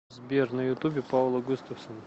сбер на ютубе паула густафсон